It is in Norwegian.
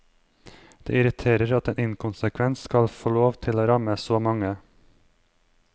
Det irriterer at en inkonsekvens skal få lov til å ramme så mange.